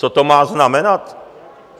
Co to má znamenat?